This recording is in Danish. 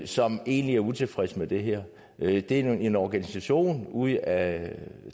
som egentlig er utilfredse med det her det er én organisation ud af